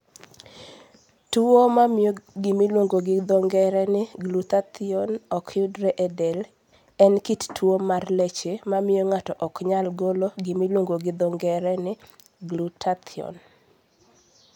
Tuwo mamio gimiluongo gi dho ng'ere ni glutathione ok yudre e del en kit tuo mar leche mamiyo ng'ato ok nyal golo gimiluongo gi dho ng'ere ni glutathione.